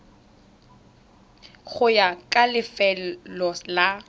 go ya ka lefelo la